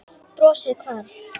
Brosið hvarf.